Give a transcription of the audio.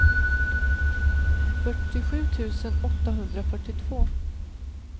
fyrtiosju tusen åttahundrafyrtiotvå